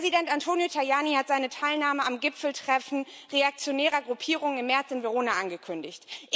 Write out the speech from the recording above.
Präsident Antonio Tajani hat seine Teilnahme am Gipfeltreffen reaktionärer Gruppierungen im März in Verona angekündigt.